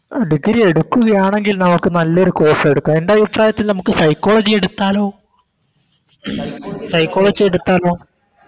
Degree എടുക്കുകയാണെങ്കിൽ നമക്ക് നല്ലൊരു Course എടുക്കാം എൻറെ അഭിപ്രായത്തിൽ നമുക്ക് Psychology എടുത്താലോ Psychology എടുത്താലോ